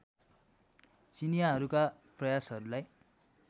चिनियाँहरूका प्रयासहरूलाई